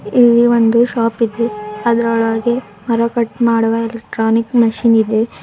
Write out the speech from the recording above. ಇಲ್ಲಿ ಒಂದು ಶಾಪ್ ಇದೆ ಅದರೊಳಗೆ ಮರ ಕಟ್ ಮಾಡುವ ಎಲೆಕ್ಟ್ರಾನಿಕ್ ಮಷೀನ್ ಇದೆ.